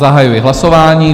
Zahajuji hlasování.